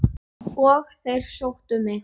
Og þeir sóttu mig.